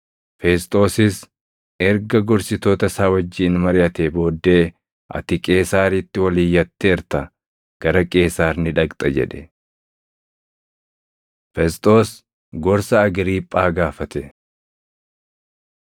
Fesxoosis erga gorsitoota isaa wajjin mariʼatee booddee, “Ati Qeesaaritti ol iyyatteerta; gara Qeesaar ni dhaqxa!” jedhe. Fesxoos Gorsa Agriiphaa Gaafate